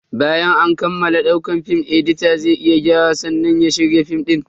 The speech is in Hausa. Bayan an kammala daukar film, edita zai yi gyara sannan ya shirya film din.